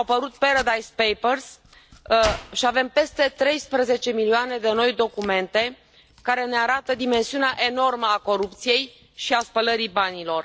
Au apărut Paradise Papers și avem peste treisprezece milioane de noi documente care ne arată dimensiunea enormă a corupției și a spălării banilor.